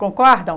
Concordam?